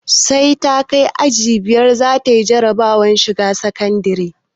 Sai ta kai aji biyar za ta za na jarabawar shiga sakandire